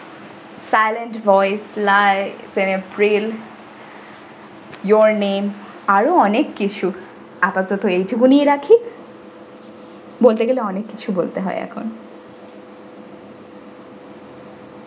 silent voiceless april your name আরও অনেক কিছু আপাতত এইটুকুনিই রাখি বলতে গেলে অনেক কিছু বলতে হয় এখন।